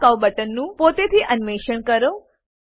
show curve બટનનું પોતેથી અન્વેષણ કરો